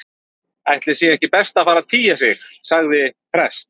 Ætli sé ekki best að fara að tygja sig- sagði prest